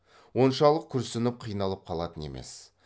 оншалық күрсініп қиналып қалатын емес